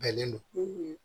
Bɛnnen don